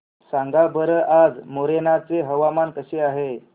सांगा बरं आज मोरेना चे हवामान कसे आहे